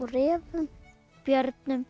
refum